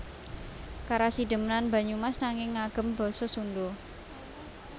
Karasidenan Banyumas nanging ngagem basa Sundha